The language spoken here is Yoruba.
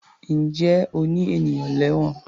Ǹjẹ́ o ní ènìyàn lẹ́wọ̀n?